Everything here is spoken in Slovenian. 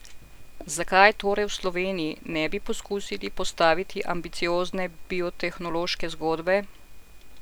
Zakaj torej v Sloveniji ne bi poskusili postaviti ambiciozne biotehnološke zgodbe?